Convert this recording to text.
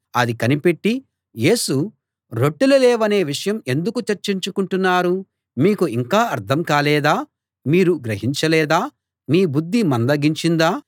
అది కనిపెట్టి యేసు రొట్టెలు లేవనే విషయం ఎందుకు చర్చించుకుంటున్నారు మీకు ఇంకా అర్థం కాలేదా మీరు గ్రహించలేదా మీ బుద్ధి మందగించిందా